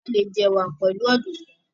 a lẹ jẹ ẹwà pẹlu Ọ̀dùnkún.